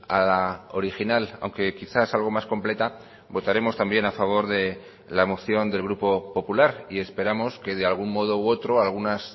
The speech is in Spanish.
a la original aunque quizás algo más completa votaremos también a favor de la moción del grupo popular y esperamos que de algún modo u otro algunas